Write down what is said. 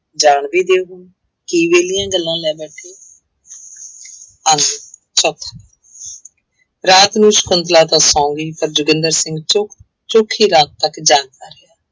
ਜਾਣਦੀ ਕੀ ਵਿਹਲੀਆਂ ਗੱਲਾਂ ਲੈ ਬੈਠੇ ਹੋ ਅੰਗ ਚੌਥਾ ਰਾਤ ਨੂੰ ਸਕੁੰਤਲਾ ਤਾਂ ਸੌਂ ਗਈ ਪਰ ਜੋਗਿੰਦਰ ਸਿੰਘ ਚੌ ਚੌਖੀ ਰਾਤ ਤੱਕ ਜਾਗਦਾ ਰਿਹਾ।